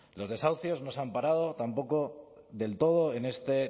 los desahucios no se han parado tampoco del todo en este